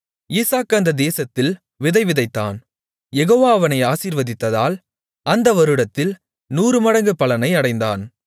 ஈசாக்கு அந்தத் தேசத்தில் விதைவிதைத்தான் யெகோவா அவனை ஆசீர்வதித்ததால் அந்த வருடத்தில் 100 மடங்கு பலனை அடைந்தான்